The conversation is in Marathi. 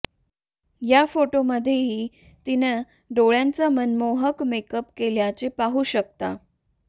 या फोटोमध्येही तिनं डोळ्यांचा मनमोहक मेकअप केल्याचे पाहू शकता